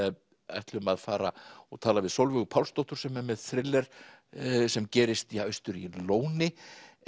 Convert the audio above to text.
ætlum að fara og tala við Sólveigu Pálsdóttur sem er með þriller sem gerist austur í Lóni